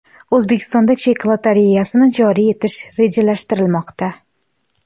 O‘zbekistonda chek lotereyasini joriy etish rejalashtirilmoqda.